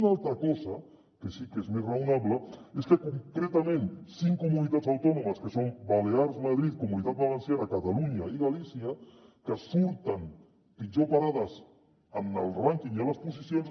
una altra cosa que sí que és més raonable és que concretament cinc comuni·tats autònomes que són balears madrid comunitat valenciana catalunya i galí·cia que surten pitjor parades en el rànquing i en les posicions